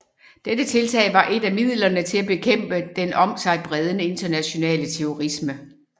Dette tiltag var et af midlerne til at bekæmpe den om sig bredende internationale terrorisme